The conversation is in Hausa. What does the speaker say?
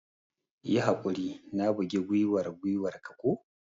Yi haƙuri, na bugi gwiwar gwiwar ka ko?